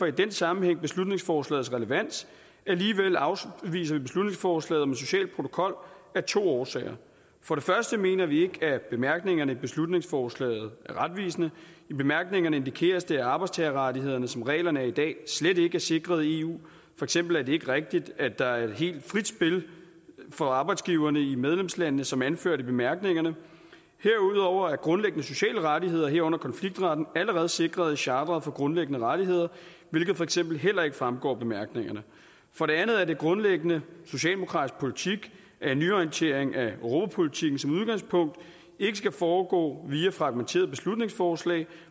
i den sammenhæng beslutningsforslagets relevans alligevel afviser vi beslutningsforslaget om en social protokol af to årsager for det første mener vi ikke at bemærkningerne i beslutningsforslaget er retvisende i bemærkningerne indikeres det at arbejdstagerrettighederne som reglerne er i dag slet ikke er sikret i eu for eksempel er det ikke rigtigt at der er helt frit spil for arbejdsgiverne i medlemslandene som anført i bemærkningerne herudover er grundlæggende sociale rettigheder herunder konfliktretten allerede sikret i chartret for grundlæggende rettigheder hvilket for eksempel heller ikke fremgår af bemærkningerne for det andet er det grundlæggende socialdemokratisk politik at nyorientering af europapolitikken som udgangspunkt ikke skal foregå via fragmenterede beslutningsforslag